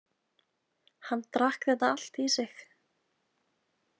Hann drakk þetta allt í sig